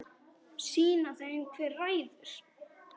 Sýna þeim hver ræður.